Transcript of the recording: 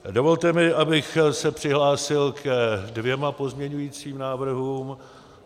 Dovolte mi, abych se přihlásil ke dvěma pozměňovacím návrhům.